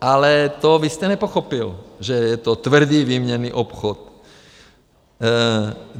Ale to vy jste nepochopil, že je to tvrdý výměnný obchod.